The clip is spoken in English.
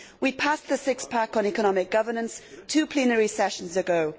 We passed the six pack on economic governance two plenary sessions ago.